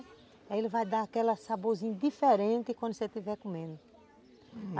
Aí ele vai dar aquele saborzinho diferente quando você estiver comendo.